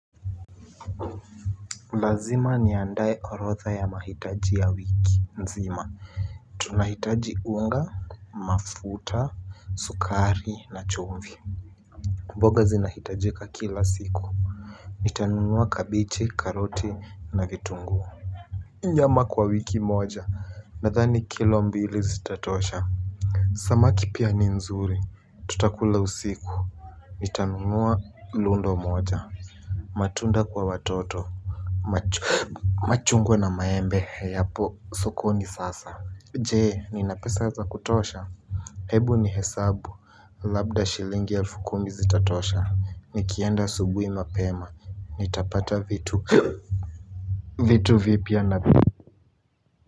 Lazima niandae orodha ya mahitaji ya wiki nzima, tunahitaji unga, mafuta, sukari na chumvi. Mboga zinahitajika kila siku. Nitanunua kabichi, karoti na vitunguu. Nyama kwa wiki moja, nadhani kilo mbili zitatosha. Samaki pia ni nzuri. Tutakula usiku. Nitanunua lundo moja. Matunda kwa watoto machungwa na maembe yapo sokoni sasa je nina pesa za kutosha hebu nihesabu labda shilingi elfu kumi zitatosha nikienda asubuhi mapema nitapata vitu vitu vipya na.